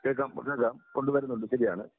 കേക്കാം, കേക്കാം കൊണ്ടുവരുന്നുണ്ട് ശരിയാണ്.